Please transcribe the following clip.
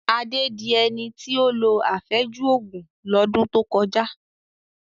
Adé di ẹni tí ó lo àfẹ́jù Ògùn lọ́dún tó kọjá